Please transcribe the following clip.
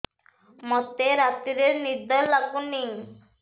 ମୋତେ ରାତିରେ ନିଦ ଲାଗୁନି